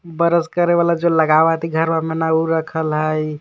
बरस करे वाला जो लगावित घरवा में ना उ रखल है.